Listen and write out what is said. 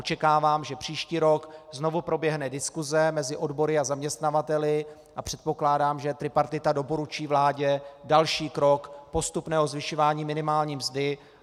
Očekávám, že příští rok znovu proběhne diskuse mezi odbory a zaměstnavateli, a předpokládám, že tripartita doporučí vládě další krok postupného zvyšování minimální mzdy.